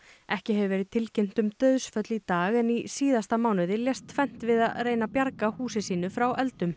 ekki hefur verið tilkynnt um dauðsföll í dag en í síðasta mánuði lést tvennt við að reyna að bjarga húsi sínu frá eldum